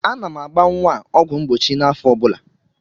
Ana m agba nwa a ọgwụ mgbochi n'afọ ọ bụla.